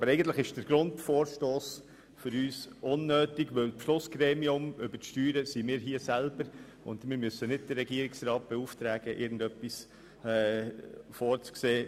Aber im Grunde ist für uns der Vorstoss unnötig, weil wir selber ja das Beschlussgremium über die Steuern sind und nicht den Regierungsrat beauftragen müssen, irgendetwas vorzusehen.